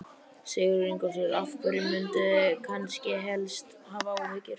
Sigurður Ingólfsson: Af hverju munduð þið kannski helst hafa áhyggjur?